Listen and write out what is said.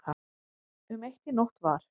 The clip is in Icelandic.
Um eitt í nótt var